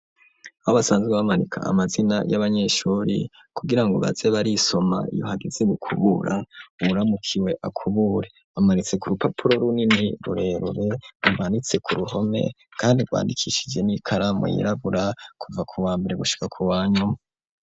Haba asanzwe bamarika amazina y'abanyeshuri kugira ngo bazebarisoma iyohagizeg kubura uwuramukiwe akubure amaritse ku rupapuro runini rurerure umbanitse ku ruhome, kandi rwandikishije n'ikaramu yirabura kuva ku wa mbere gushika ku wanyu.